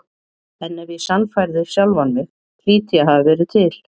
En ef ég sannfærði sjálfan mig hlýt ég að hafa verið til.